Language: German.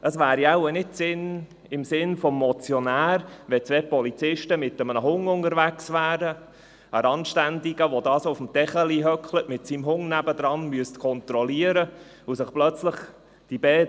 Es wäre wohl kaum im Sinn des Motionärs, wenn zwei Polizisten mit einem Hund unterwegs wären, um einen Randständigen zu kontrollieren, der mit einem Hund neben sich auf einem Teppichlein sitzt.